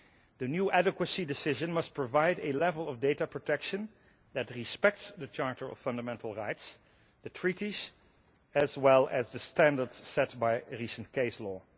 The new adequacy decision must provide a level of data protection that respects the Charter of Fundamental Rights, the Treaties, as well as the standards set by recent case law.